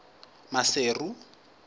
maseru